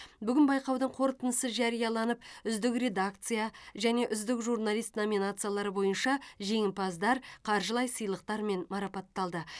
бүгін байқаудың қортындысы жарияланып үздік редакция және үздік журналист номинациялары бойынша жеңімпаздар қаржылай сыйлықтармен марапатталды